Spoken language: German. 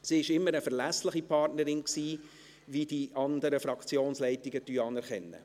Sie war immer eine verlässliche Partnerin, wie die anderen Fraktionsleitungen anerkennen.